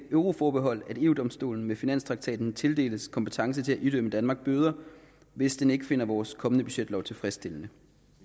euroforbehold at eu domstolen med finanstraktaten tildeles kompetence til at idømme danmark bøder hvis den ikke finder vores kommende budgetlov tilfredsstillende